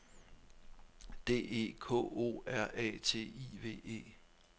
D E K O R A T I V E